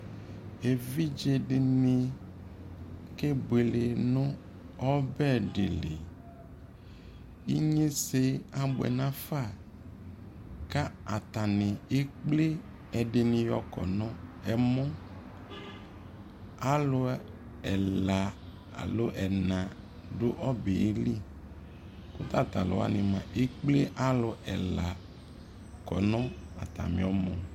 ɛvidzɛ dini kɛbʋɛlɛ nʋ ɔbɛ dili, inyɛsɛ abʋɛ nʋ aƒã ka atani ɛkplɛ ɛdini yɔkɔnʋ ɛmɔ, alʋ ɛla alɔ ɛna dʋ ɔbɛli kʋ tatalʋ wani mʋa ɛkplɛ alʋ ɛla kɔnʋ atami ɔmɔ